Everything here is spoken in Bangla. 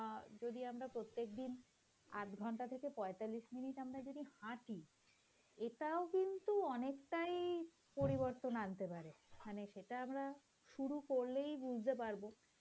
অ্যাঁ যদি আমরা প্রত্যেক দিন আধঘন্টা থেকে পঁয়তাল্লিশ মিনিট আমরা যদি হাটি এটাও কিন্তু অনেকটাই পরিবর্তন আনতে পারে সেটা আমরা শুরু করলেই বুঝতে পারব,